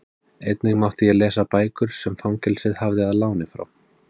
Einnig mátti ég lesa bækur sem fangelsið hafði að láni frá